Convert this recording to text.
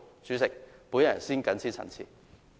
主席，我謹此陳辭。